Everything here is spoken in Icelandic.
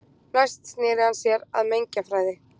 næst sneri hann sér að mengjafræði